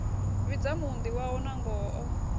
vhidza muunḓi wawe nangoho o